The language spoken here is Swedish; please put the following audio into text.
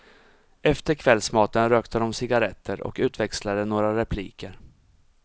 Efter kvällsmaten rökte de cigarretter och utväxlade några repliker.